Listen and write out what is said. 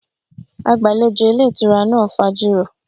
Agbalejo ilé ìtura náà fajuro.